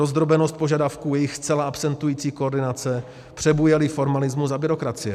Rozdrobenost požadavků, jejich zcela absentující koordinace, přebujelý formalismus a byrokracie.